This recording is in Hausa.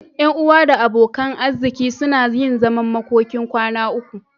Ƴan uwa da abokan arziki suna yin zaman makokin kwana uku.